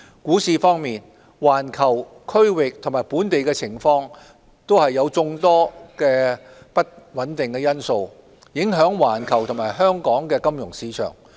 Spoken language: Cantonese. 股市方面，環球、區域及本地情況的眾多不穩定因素，影響環球及香港的金融市場。